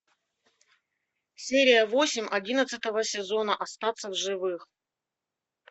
серия восемь одиннадцатого сезона остаться в живых